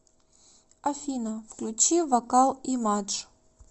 афина включи вокал имадж